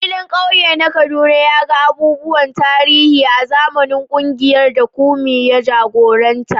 Filin kauye na Kaduna ya ga abubuwan tarihi a zamanin kungiyar da Kunmi ya jagoranta.